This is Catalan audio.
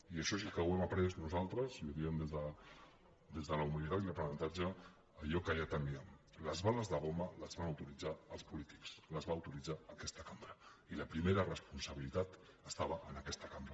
i això sí que ho hem après nosaltres i ho diem des de la humilitat i l’aprenentatge allò que ja temíem les bales de goma les van autoritzar els polítics les va autoritzar aquesta cambra i la primera responsabilitat estava en aquesta cambra